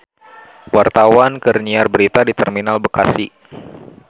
Wartawan keur nyiar berita di Terminal Bekasi